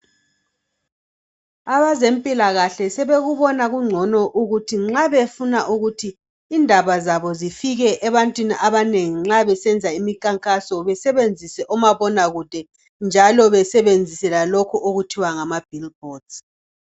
Abazempilakahle sebekubona kungcono ukuthi nxa befuna ukuthi indaba zabo zifike ebantwini abanengi nxa besenza imikhankaso besebenzise omabona kude njalo besebenzise lokho okuthiwa ngama bhilibhodi.